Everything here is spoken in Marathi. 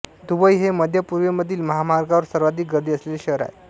दुबई हे मध्य पूर्वेमधील महामार्गांवर सर्वाधिक गर्दी असलेले शहर आहे